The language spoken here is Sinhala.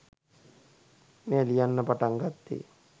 මෙය ලියන්න පටන් ගත්තේ